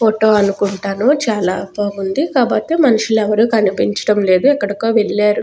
Photo అనుకుంటాను చాలా బాగుందికాబట్టి మనుషులు ఎవ్వరూ కనిపించట్లేదు ఎక్కడో వెళ్ళారు.